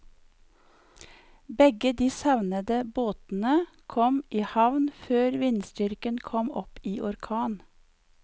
Begge de savnede båtene kom i havn før vindstyrken kom opp i orkan.